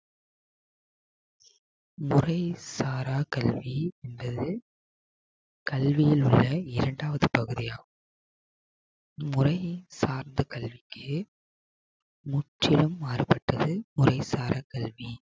முறை சாரா கல்வி என்பது கல்வியில் உள்ள இரண்டாவது பகுதியாகும். முறை சார்ந்த கல்விக்கு முற்றிலும் மாறுபட்டது முறை சாரா கல்வி